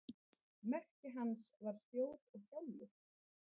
Merki hans var spjót og hjálmur.